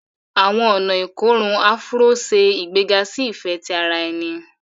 Àwọn ọna ikorun Afuro se igbega si ifẹ ti ara ẹni